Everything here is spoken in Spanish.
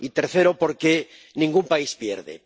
y tercero, porque ningún país pierde.